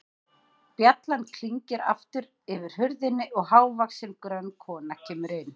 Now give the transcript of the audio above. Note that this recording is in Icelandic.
Bjallan klingir aftur yfir hurðinni og hávaxin, grönn kona kemur inn.